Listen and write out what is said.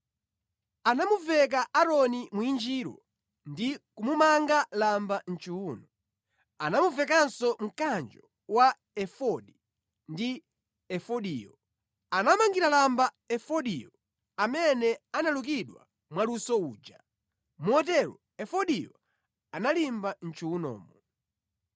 Anamuveka Aaroni mwinjiro, ndi kumumanga lamba mʼchiwuno. Anamuvekanso mkanjo wa efodi ndi efodiyo. Anamangira lamba efodiyo amene analukidwa mwaluso uja, motero efodiyo analimba mʼchiwunomo.